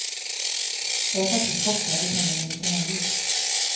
Jag är faktiskt chockad och känner mig lite naiv.